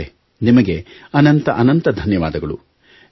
ನಿತೇಶ್ ಅವರೇ ನಿಮಗೆ ಅನಂತ ಅನಂತ ಧನ್ಯವಾದಗಳು